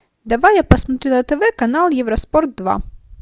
давай я посмотрю на тв канал евроспорт два